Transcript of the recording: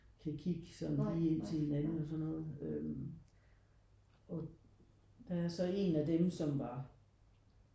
Kan kigge sådan lige ind til hinanden og sådan noget øh og der er så en af dem som var